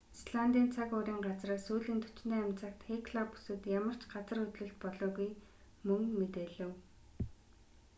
исландын цаг уурын газраас сүүлийн 48 цагт хекла бүсэд ямар ч газар хөдлөлт болоогүй мөн мэдээлэв